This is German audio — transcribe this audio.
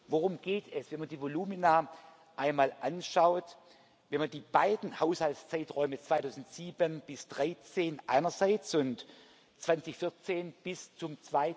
Worum geht es, wenn man die Volumina einmal anschaut, wenn man die beiden Haushaltszeiträume 2007 bis 2013 einerseits und 2014 bis zum